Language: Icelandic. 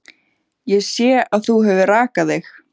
Ég sé að þú hefur rakað þig.